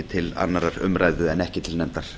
til annarrar umræðu en ekki til nefndar